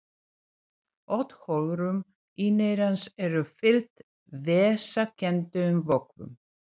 Öll holrúm inneyrans eru fyllt vessakenndum vökvum.